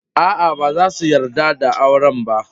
Aa, ba su yarda da auren ba.